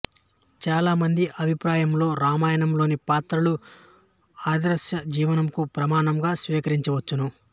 చాలా మంది అభిప్రాయములో రామాయణములోని పాత్రలు ఆదర్శజీవనమునకు ప్రమాణముగా స్వీకరింపవచ్చును